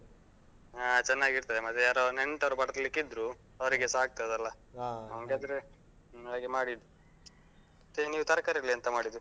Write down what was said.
ಹಾ ಚೆನ್ನಾಗಿರ್ತದೆ. ಮತ್ತೆ ಯಾರೋ ನೆಂಟರು ಬರ್ಲಿಕ್ಕೆ ಇದ್ರೂ, ಅವ್ರಿಗೇಸ ಆಗ್ತದಲ್ಲಾ? ಹಾಗೆ ಮಾಡಿದ್ದು. ಮತ್ತೆ ನೀವ್ ತರ್ಕಾರಿಯಲ್ಲಿ ಎಂತ ಮಾಡಿದ್ದು?